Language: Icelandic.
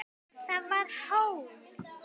Það var hól.